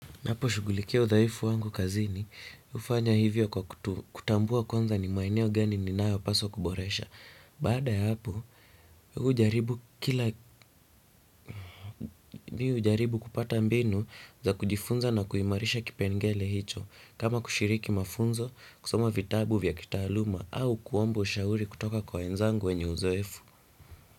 Ninapo shughulikia udhaifu wangu kazini hufanya hivyo kwa kutambua kwanza ni maeneo gani ninayo paswa kuboresha. Baada ya hapo, hujaribu kila, mimi hujaribu kupata mbinu za kujifunza na kuimarisha kipengele hicho. Kama kushiriki mafunzo, kusoma vitabu vya kitaaluma au kuomba ushauri kutoka kwa wenzangu wenye uzoefu.